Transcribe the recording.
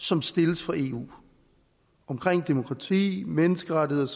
som stilles fra eu omkring demokrati menneskerettigheder